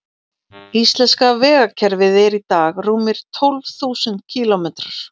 Íslenska vegakerfið er í dag rúmir tólf þúsund kílómetrar.